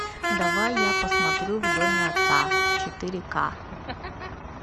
давай я посмотрю в доме отца четыре ка